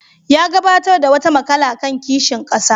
Ya gabatar da wata maƙala kan kishin ƙasa.